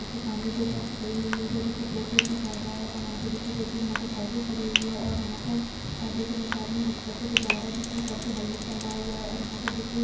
की सामने दो बस खड़ी हुई है इधर देखिये टोटो भी जा रहा है और यहाँ पे देखिये दो तीन मोटरसाइकिल खड़ी हुई है और यहाँ पर देख रहे है एकआदमी मोटरसाइकिल से जा रहा है जिसने सर पे हेलमेट पहना हुआ है और यहाँ पे देखिये --